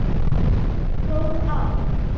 Góð ár.